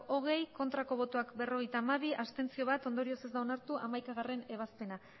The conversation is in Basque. hogei bai berrogeita hamabi ez bat abstentzio ondorioz ez da onartu hamaikagarrena ebazpena